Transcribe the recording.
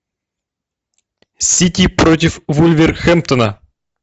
сити против вулверхэмптона